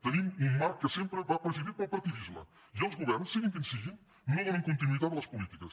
tenim un marc que sempre va presidit pel partidisme i els governs siguin quins si·guin no donen continuïtat a les polítiques